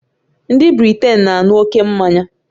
Ndị Britain na-aṅụ ókè mmanya